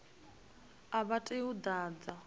a vha tei u ḓadza